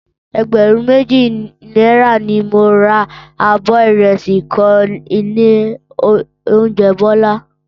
Ẹgbẹ̀rún méjì náírà ni mo ra abọ́ ìrẹsì kan nílé oúnjẹ Bọ́lá